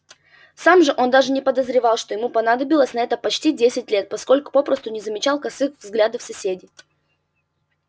сам же он даже не подозревал что ему понадобилось на это почти десять лет поскольку попросту не замечал косых взглядов соседей